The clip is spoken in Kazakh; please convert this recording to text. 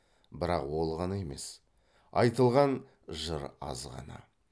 бірақ ол ғана емес айтылған жыр аз ғана